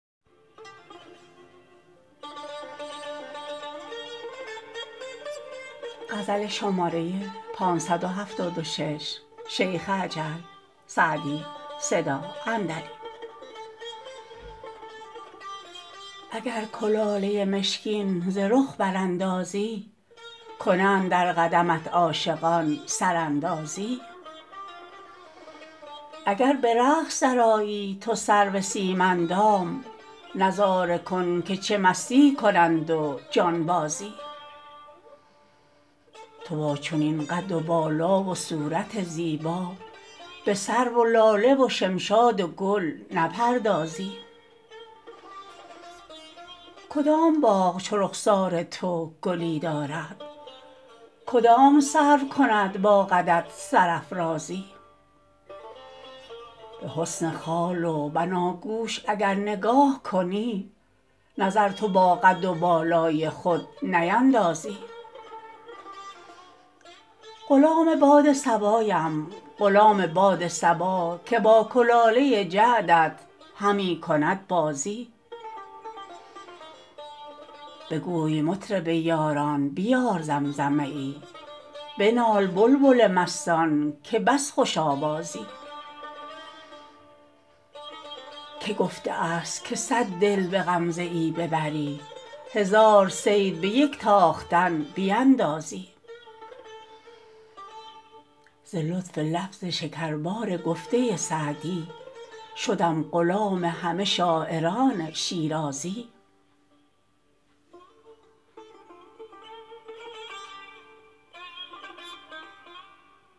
اگر کلاله مشکین ز رخ براندازی کنند در قدمت عاشقان سراندازی اگر به رقص درآیی تو سرو سیم اندام نظاره کن که چه مستی کنند و جانبازی تو با چنین قد و بالا و صورت زیبا به سرو و لاله و شمشاد و گل نپردازی کدام باغ چو رخسار تو گلی دارد کدام سرو کند با قدت سرافرازی به حسن خال و بناگوش اگر نگاه کنی نظر تو با قد و بالای خود نیندازی غلام باد صبایم غلام باد صبا که با کلاله جعدت همی کند بازی بگوی مطرب یاران بیار زمزمه ای بنال بلبل مستان که بس خوش آوازی که گفته است که صد دل به غمزه ای ببری هزار صید به یک تاختن بیندازی ز لطف لفظ شکربار گفته سعدی شدم غلام همه شاعران شیرازی